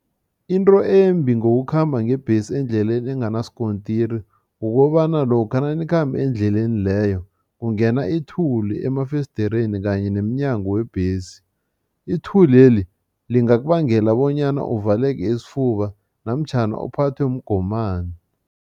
Into embi ngokukhamba ngebhesi endleleni enganasikontiri, kukobana lokha nanikhamba endleleni leyo kungena ithuli emafesidereni kanye nemnyango webhesi. Ithuleli lingakubangela bonyana uvaleke isifuba namtjhana uphathwe mgomani.